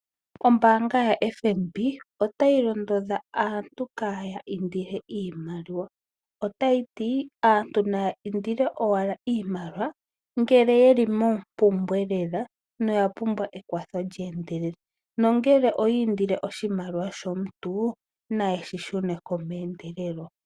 Ombaanga yo FNB otayi londodha aantu kaya indile iimaliwa otayiti ;aantu naya indile owala iimaliwa ngele yeli mompumbwe lela noya pumbwa ekwatho lye endelela ,nongele oyi indile oshimaliwa shomuntu nayeshi shuneko meendelelo